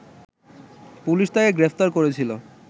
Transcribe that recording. police তাকে গ্রেপ্তার করেছিল